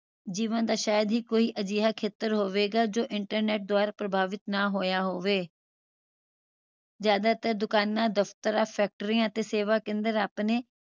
ਜੀਵਨ ਦਾ ਸ਼ਾਇਦ ਹੀ ਅਜਿਹਾ ਕੋਈਂ ਖੇਤਰ ਹੋਵੇਗਾ ਜੋ internet ਦੁਆਰਾ ਪ੍ਰਭਾਵਿਤ ਨਾ ਹੋਇਆ ਹੋਵੇ ਜਿਆਦਾਤਰ ਦੁਕਾਨਾਂ ਫੈਕ੍ਟਰੀਆਂ ਅਤੇ ਸੇਵਾ ਕੇਂਦਰ ਆਪਣੇ